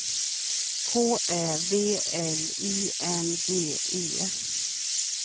K Ä V L I N G E